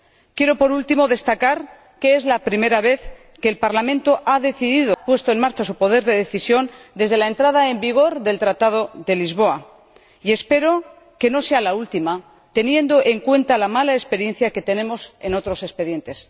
Quiero, por último, destacar que es la primera vez que el Parlamento ha puesto en marcha su poder de decisión desde la entrada en vigor del Tratado de Lisboa y espero que no sea la última, teniendo en cuenta la mala experiencia que tenemos en otros expedientes.